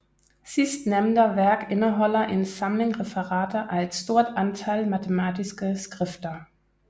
Sistnämnda værk indeholder en samling referater af et stort antal matematiske skrifter